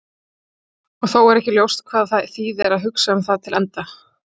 og þó er ekki ljóst hvað það þýðir að hugsa það til enda